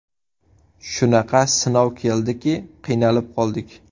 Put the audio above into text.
Shunaqa sinov keldiki, qiynalib qoldik.